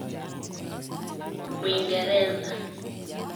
Wingereza.